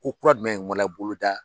Ko kura dumɛn wala boloda